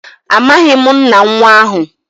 amaghim nna nwa ahu.